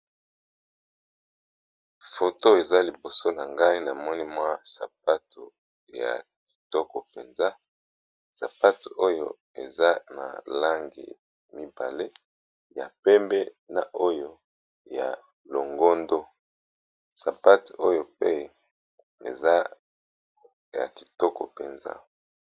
Foto eza liboso na ngai namoni mwa sapato ya kitoko mpenza sapatu oyo eza na langi mibale ya pembe na oyo ya longondo sapatu oyo pe eza ya kitoko mpenza.